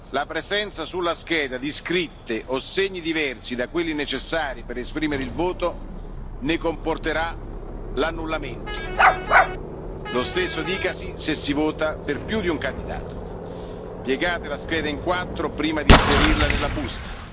distrutta. La presenza sulla scheda di scritte o segni diversi da quelli necessari per esprimere il voto ne comporterà l'annullamento lo stesso dicasi se si vota per più di un candidato. Piegate la scheda in quattro prima di inserirla